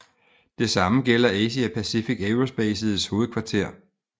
Det same gælder Asia Pacific Aerospaces hovedkvarter